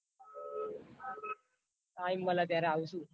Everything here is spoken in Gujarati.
Time મલે ત્યારે આવસુ.